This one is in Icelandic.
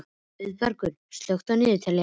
Auðbergur, slökktu á niðurteljaranum.